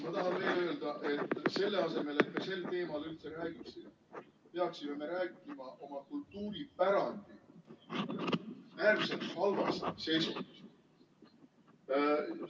Ma tahan veel öelda, et selle asemel, et me sel teemal üldse räägiksime, peaksime me rääkima oma kultuuripärandi äärmiselt halvast seisundist.